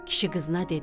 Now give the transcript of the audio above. Kişi qızına dedi: